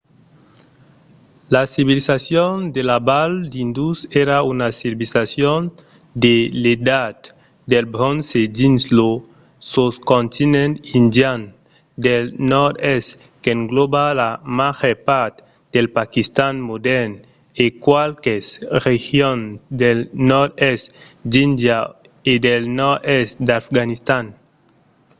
la civilizacion de la val d'indus èra una civilizacion de l'edat del bronze dins lo soscontinent indian del nòrd-oèst qu'englòba la màger part del paquistan modèrn e qualques regions del nòrd-oèst d'índia e del nòrd-èst d'afganistan